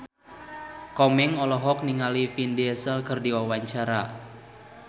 Komeng olohok ningali Vin Diesel keur diwawancara